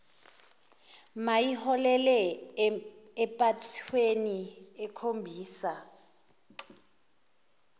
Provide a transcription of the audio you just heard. mayiholele empathweni ekhombisa